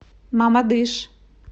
мамадыш